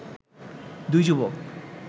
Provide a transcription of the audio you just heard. দুই যুবক